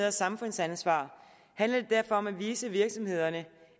og samfundsansvar handler det derfor om at vise virksomhederne